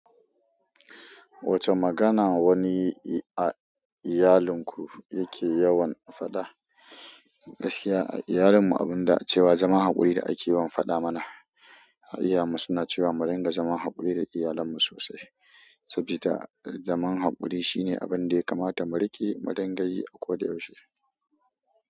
Wacce magana wani a iyalinku yake yawan faɗa? Gaskiya a iyalinmu abun da cewa zaman haƙuri da ake yawan faɗa muna. Ha iyayenmu suna cewa mu riƙa zaman haƙuri da iyalanmu sosai, sabida zaman haƙuri shine abun da ya kamata mu riƙe, mu dingayi a koda yaushe.